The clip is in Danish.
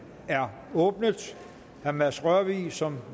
er åbnet herre mads rørvig som